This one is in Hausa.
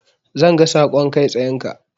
Zan ga saƙon kai tsayenka.